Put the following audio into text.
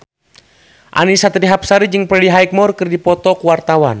Annisa Trihapsari jeung Freddie Highmore keur dipoto ku wartawan